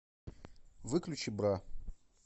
выключи бра